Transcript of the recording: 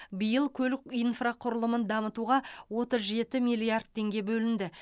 биыл көлік инфрақұрылымын дамытуға отыз жеті миллиард теңге бөлінді